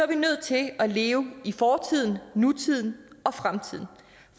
vi nødt til at leve i fortiden nutiden og fremtiden